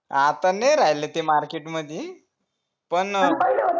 आता नाय राहिला ते market मध्ये पण